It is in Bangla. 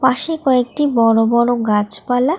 পাশেই কয়েকটি বড় বড় গাছপালা।